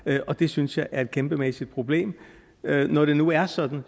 det og det synes jeg er et kæmpemæssigt problem når det nu er sådan